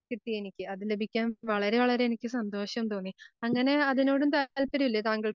കിട്ടീയെനിക്ക് അതിലെനിക്ക് വളരെ വളരെ എനിക്ക് സന്തോഷം തോന്നി. അങ്ങനെ അതിനോടും താല്പര്യം ഇല്ലേ താങ്കൾ